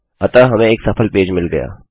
अतः हमें एक सफल पेज मिल गया